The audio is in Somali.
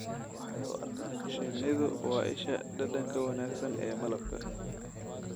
Shinnidu waa isha dhadhanka wanaagsan ee malabka.